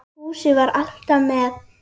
Fúsi var alltaf með